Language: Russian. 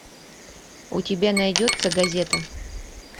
у тебя найдется газета